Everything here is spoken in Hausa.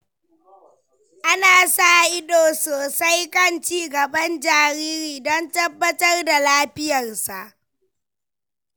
Ana sa ido sosai kan ci gaban jariri don tabbatar da lafiyarsa.